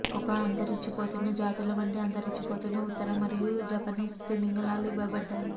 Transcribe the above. ఒక అంతరించిపోతున్న జాతుల వంటి అంతరించిపోతున్న ఉత్తర మరియు జపనీస్ తిమింగలాలు ఇవ్వబడ్డాయి